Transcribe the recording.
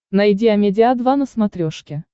найди амедиа два на смотрешке